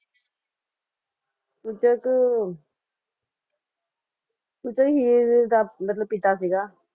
ਚੂਚਕ ਦਾ ਮਤਲਬ ਪਿਤਾ ਸੀਗਾ